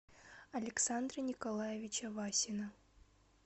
александра николаевича васина